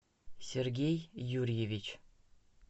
сергей юрьевич